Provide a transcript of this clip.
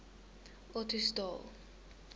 ottosdal